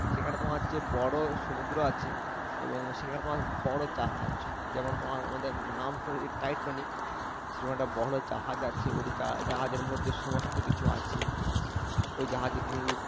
সেখানে তোমার হচ্ছে বড় সমুদ্র আছে এবং সেখানে তোমার বড় জাহাজ যেমন তোমার আমাদের নাম শুনেছ টাইটানিক সেরকম একটা বড় জাহাজ আছে ওটা জাহাজের মধ্যে সমস্ত কিছু আছে ওই জাহাজে তুমি উঠতে পারবে